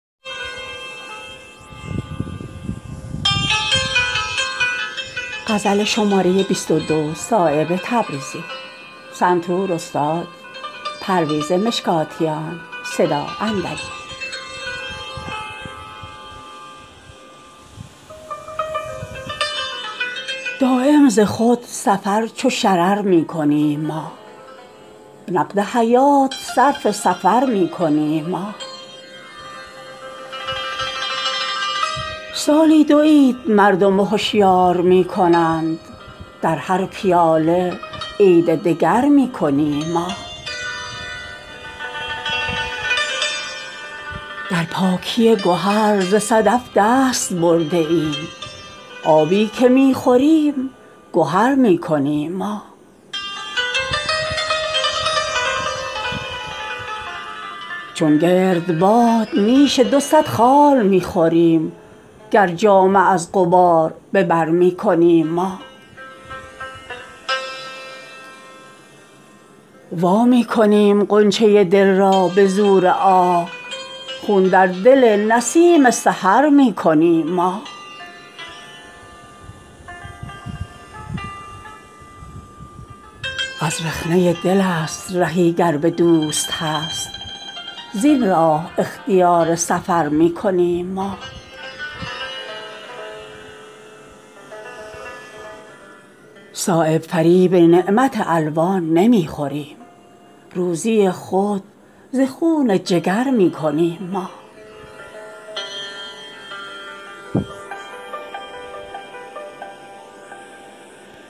دایم ز خود سفر چو شرر می کنیم ما نقد حیات صرف سفر می کنیم ما سالی دو عید مردم هشیار می کنند در هر پیاله عید دگر می کنیم ما در پاکی گهر ز صدف دست برده ایم آبی که می خوریم گهر می کنیم ما جنگ شرار و سوخته را سیر کرده ایم از دشمن ضعیف حذر می کنیم ما صبح وجود ما نفس واپسین ماست در زیر تیغ خنده تر می کنیم ما ابرو ز چشم و خال ز خط دلرباترست چندان که در رخ تو نظر می کنیم ما چون گردباد نیش دو صد خار می خوریم گر جامه از غبار به بر می کنیم ما وامی کنیم غنچه دل را به زور آه خون در دل نسیم سحر می کنیم ما دامن به خارزار تعلق فشانده ایم در زیر بال خویش به سر می کنیم ما غافل به قلب خصم شبیخون نمی زنیم اول ز عزم خویش خبر می کنیم ما شیرینی فسانه ما نیست گفتنی در شیر ماهتاب شکر می کنیم ما از رخنه دل است رهی گر به دوست هست زین راه اختیار سفر می کنیم ما هر ماه نو که از افق حسن سر زند در عرض یک دو هفته قمر می کنیم ما چون آفتاب شهره آفاق می شود در هر ستاره ای که نظر می کنیم ما ای قدردان گوهر پاکیزه گوهران بازآ وگرنه عزم سفر می کنیم ما صایب فریب نعمت الوان نمی خوریم روزی خود ز خون جگر می کنیم ما